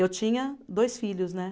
Eu tinha dois filhos, né?